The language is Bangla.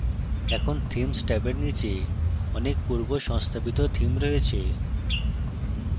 এখানে themes ট্যাবের নীচে অনেক পূর্ব সংস্থাপিত থিম রয়েছে